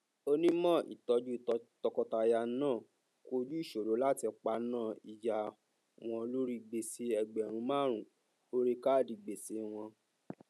onímọ ìtọjú tọkọtaya náà kojú ìṣòro láti paná ìjà wọn lórí gbèsè ẹgbẹrún márùn orí káádì gbèsè wọn